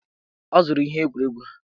Ọ zụrụ ihe egwuregwu ha.